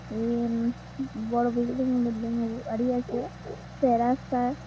বড় building building বাড়ি আছে চৌরাস্তার--